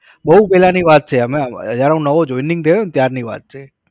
બહુ પહેલાની વાત છે. અમે જ્યારે હું નવો joining થયો ત્યારની વાત છે